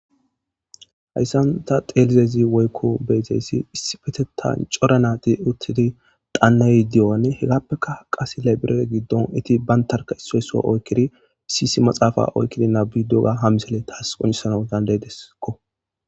hayssanta xelizezi woykko beexeyssi issifetetan coranati uttidi daannay di7o7anne hegappeka qas lebire giddon iti bantarka issoyso oykkidi issisi maxaafa oykkidi nabi doga ha misele taas qoncesanadan leedesekko